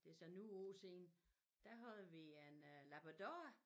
Det så nogen år siden da havde vi en øh labrador